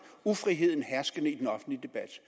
ufriheden herskende i den offentlige debat